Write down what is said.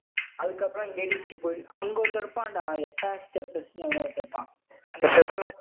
அதுக்கப்புறம் எடிஸ்கே போயிடலாம். அங்க ஒருத்தன் இருப்பான்டா. ஹெபஸ்டஸ் எவனோ ஒருத்தன் இருப்பான் அந்த